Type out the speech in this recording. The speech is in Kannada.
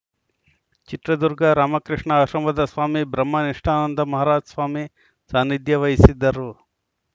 ಚಿತ್ರದುರ್ಗ ರಾಮಕೃಷ್ಣ ಆಶ್ರಮದ ಸ್ವಾಮಿ ಬ್ರಹ್ಮನಿಷ್ಠಾನಂದ ಮಹಾರಾಜ್‌ ಸ್ವಾಮಿ ಸಾನಿಧ್ಯ ವಹಿಸಿದ್ದರು